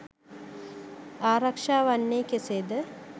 ආරක්ෂා වන්නේ කෙසේද